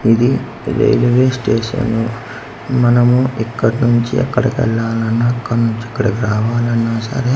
ఇది railway station మనము ఇక్కడ నుంచి అక్కడికి వెళ్ళాలన్నా అక్కడ నుంచి ఇక్కడికి రావాలన్న సరే